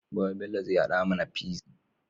Gobe Bello zai hada mAna pizza